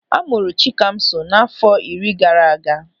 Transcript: A mụrụ Chikamso n'àfọ́ iri gaara aga.